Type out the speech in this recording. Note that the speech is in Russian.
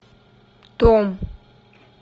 том